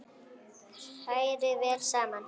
Hrærið vel saman.